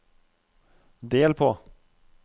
del på